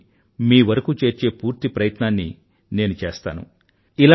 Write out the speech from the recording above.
వాటిని మీవరకూ చేర్చే పూర్తి ప్రయత్నాన్ని నేను చేస్తాను